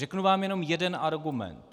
Řeknu vám jenom jeden argument.